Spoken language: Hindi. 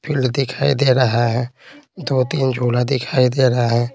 फील्ड दिखाई दे रहा है दो-तीन झोला दिखाई दे रहा है।